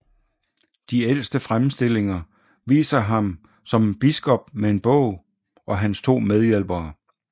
De ældste fremstillinger viser ham som biskop med en bog og hans to medhjælpere